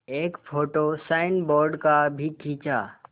एक photo signboard का भी खींचा